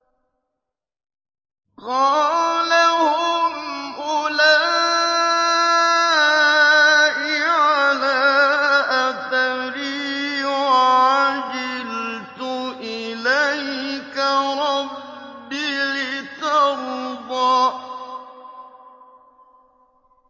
قَالَ هُمْ أُولَاءِ عَلَىٰ أَثَرِي وَعَجِلْتُ إِلَيْكَ رَبِّ لِتَرْضَىٰ